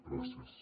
gràcies